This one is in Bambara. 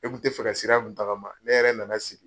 Ne kun tɛ fɛ ka sira mun tagama, ne yɛrɛ nana sigi.